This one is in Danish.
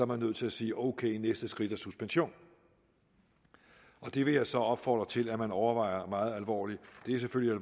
man nødt til at sige ok næste skridt er suspension det vil jeg så opfordre til at man overvejer meget alvorligt det er selvfølgelig